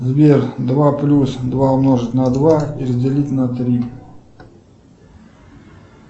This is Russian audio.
сбер два плюс два умножить на два и разделить на три